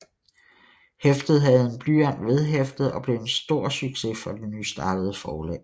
Hæftet havde en blyant vedhæftet og blev en succes for det nystartede forlag